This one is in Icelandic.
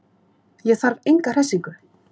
Ég þarf enga hressingu.